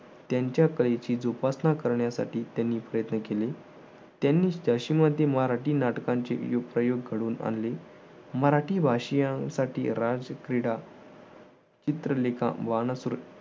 त्यांच्या कलेची जोपासना करण्यासाठी त्यांनी प्रयत्न केले. त्यांनी झाशीमध्ये मराठी नाटकांची योग प्रयोग घडून आणले. मराठी भाषीयांसाठी राजक्रीडा चित्रलेखा